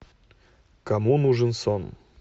кому нужен сон